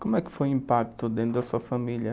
Como é que foi o impacto dentro da sua família?